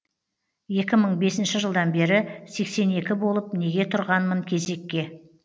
екі мың бесінші жылдан бері сексен екі болып неге тұрғанмын кезекке